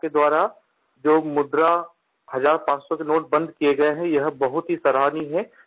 आप के द्वारा जो मुद्रा हज़ारपाँच सौ के नोट बंद किए गए हैं यह बहुत ही सराहनीय है